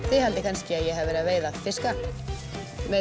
þið haldið kannski að ég hafi verið að veiða fiska með